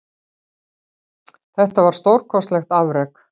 Þetta var stórkostlegt afrek